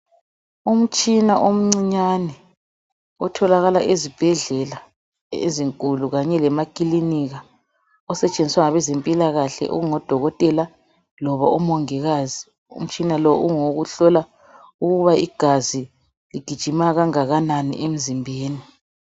Umutshina omncinyane otholakala ezibhedlela ezinkulu kanye lemakilinika, osetshenziswa ngabe zempilakahle okungodokotela loba umongikazi, umtshina lo ungowokuhlola ukuba igazi ligijima kangakanani emzimbeni.